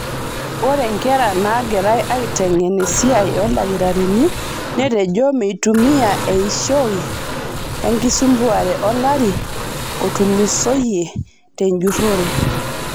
Ore nkera nagirae aitengen esiai oldakitarini netejo meitumia eishio enkisambuare olari otulusoyie tenjurore.